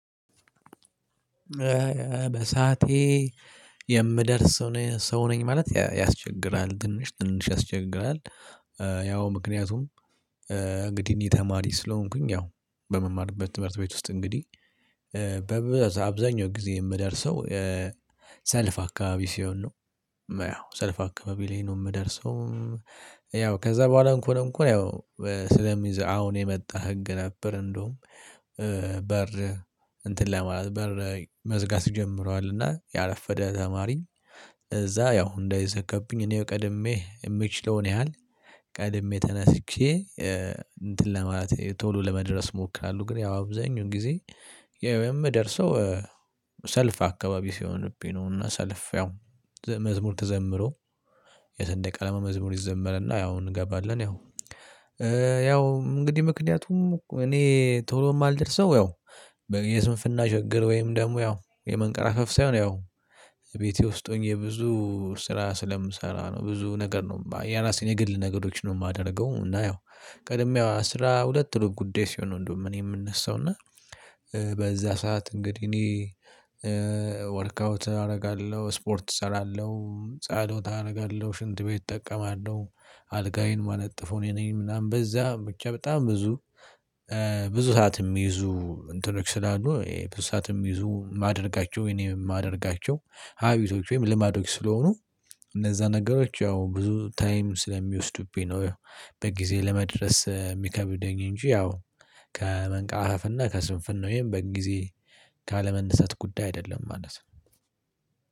በሳቴ የምደርስ ሰው ነኝ ማለት ያስቸግራል ትንሽ ትንሽ ያስቸግራል። ያው ምክንያቱም እንግዲህ እኔ ተማሪ ስለሆንኩኝ ያው በምማርበት ትምህርት ቤት ውስጥ እንግዲህ በአብዛኛው ጊዜ የምደርሰው ሰልፍ አካባቢ ሲሆን ነው። ያው ሰልፍ አካባቢ ላይ ነው የምደርሰው። ያው ከዛ በኋላ እንኳን ያው ስለሚይዝ አሁን የመጣ ህግ ነበር። እንደውም በር እንትን ላይ ማለት በር መዝጋት ጀምሯልና ያረፈደ ተማሪ እዛ ያው እንዳይዘገብኝ እኔ ቀድሜ የምችለውን ያህል ቀድሜ ተነስቼ እንትን ለማለት ቶሎ ለመድረስ እሞክራለሁ። ግን ያው አብዛኛው ጊዜ ያው የምደርሰው ሰልፍ አካባቢ ሲሆንብኝ ነው። እና ሰልፍ ያው መዝሙር ተዘምሮ የስንዴ ቀለማ መዝሙር ይዘመረና ያው እንገባለን ያው። ያው እንግዲህ ምክንያቱም እኔ ቶሎ የማልደርሰው ያው የስንፍና ችግር ወይም ደግሞ ያው የመንቀራፈፍ ሳይሆን ያው ቤቴ ውስጥ ሆኜ ብዙ ስራ ስለምሰራ ነው። ብዙ ነገር ነው የራሴን የግል ነገሮችን ነው የማደርገው። እና ያው ቀድሜ አስራ ሁለት ሩብ ጉዳይ ሲሆን እንደውም እኔ የምነሳው እና በዛ ሰዓት እንግዲህ እኔ ወርክአውት አደርጋለሁ ስፖርት እሰራለሁ። ጸሎት አደርጋለሁ። ሽንት ቤት እጠቀማለሁ አልጋዬን የማነጥፈው እኔ ነኝ። ምናምን በዛ ብቻ በጣም ብዙ ብዙ ሰዓት የሚይዙ እንትኖች ስላሉ ብዙ ሰዓት የሚይዙ ማደርጋቸው የኔም ማደርጋቸው ሀቢቶች ወይም ልማዶች ስለሆኑ እነዛ ነገሮች ያው ብዙ ታይም ስለሚወስዱብኝ ነው። በጊዜ ለመድረስ የሚከብደኝ እንጂ ያው ከመንቀራፈፍ እና ከስንፍና ወይም በጊዜ ካለመነሳት ጉዳይ አይደለም። ማለት ነው።